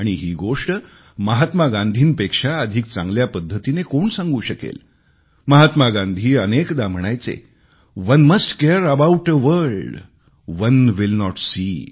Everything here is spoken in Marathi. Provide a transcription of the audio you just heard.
आणि ही गोष्ट महात्मा गांधींपेक्षा अधिक चांगल्या पद्धतीने कोण सांगू शकेल महात्मा गांधी अनेकदा म्हणायचे one must care about a world one will not C